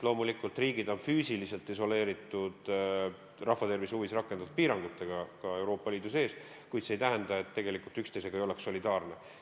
Loomulikult, riigid on füüsiliselt isoleeritud rahvatervise huvides rakendatud piirangutega, ka Euroopa Liidu sees, kuid see ei tähenda, et tegelikult ei oldaks üksteisega solidaarne.